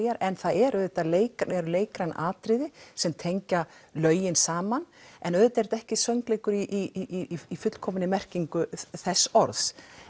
en það eru leikræn eru leikræn atriði sem tengja lögin saman en auðvitað er þetta ekki söngleikur í fullkominni merkingu þess orðs